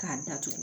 K'a datugu